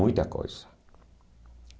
Muita coisa.